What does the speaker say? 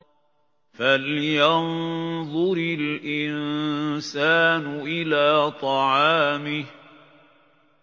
فَلْيَنظُرِ الْإِنسَانُ إِلَىٰ طَعَامِهِ